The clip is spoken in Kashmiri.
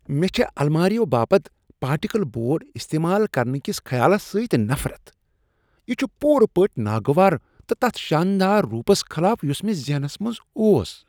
مےٚ چھےٚ الماریو باپت پارٹیکل بورڈ استعمال کرنہٕ کس خیالس سۭتۍ نفرت۔ یہ چھ پُورٕ پٲٹھۍ ناگوار تہٕ تتھ شاندار رُوپس خلاف یس مےٚ ذہنس منٛز اوس۔